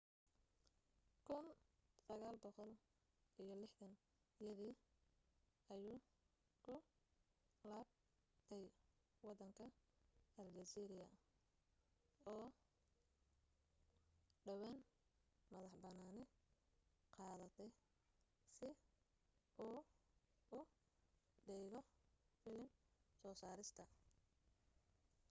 1960yadii ayuu ku laabtay waddanka aljeeriya oo dhowaan madax bannaani qaadatay si uu u dhigo filim soo saarista